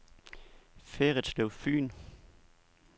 Ferritslev Fyn